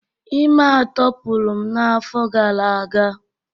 ime atọ pụrụ m n'afọ gara aga